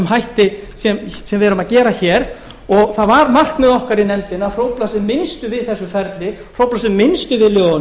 hætti sem við erum að gera hér og það var markmið okkar í nefndinni að hrófla sem minnst við þessu ferli hrófla sem minnst við